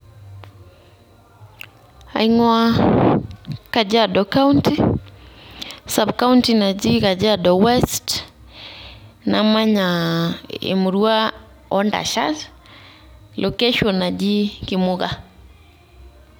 Aing'uaa kajiado county subcounty naji kajiado west, namanya emurua oo ntashat location naji Kimuka.